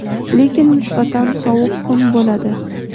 lekin nisbatan sovuq kun bo‘ladi.